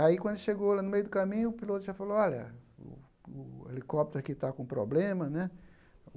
Aí, quando chegou lá no meio do caminho, o piloto já falou, olha, o o helicóptero aqui tá com problema, né?